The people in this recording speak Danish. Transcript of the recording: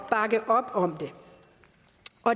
bakke op om